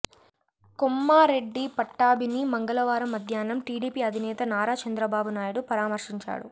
కొమ్మారెడ్డి పట్టాభిని మంగళవారం మధ్యాహ్నం టీడీపీ అధినేత నారా చంద్రబాబు నాయుడు పరామర్శించారు